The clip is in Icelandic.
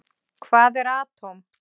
Hvað er atóm?